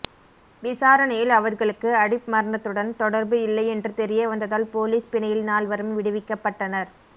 விசாரணையில் அவர்களுக்கு அடிப் மரணத்துடன் தொடர்பு இல்லை என்று தெரிய வந்ததால் போலீஸ் பிணையில் நால்வரும் விடுவிக்கப்பட்டனர்